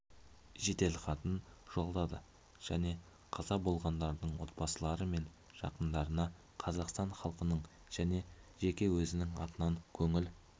жеделхатын жолдады және қаза болғандардың отбасылары мен жақындарына қазақстан халқының және жеке өзінің атынан көңіл